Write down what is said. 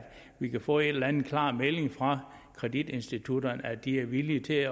vi kan få en eller anden klar melding fra kreditinstitutterne om at de er villige til